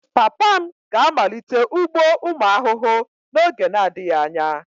Papa m ga-amalite ugbo ụmụ ahụhụ n'oge na-adịghị anya